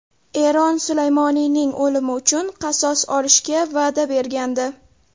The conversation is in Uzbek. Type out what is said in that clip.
Eron Sulaymoniyning o‘limi uchun qasos olishga va’da bergandi.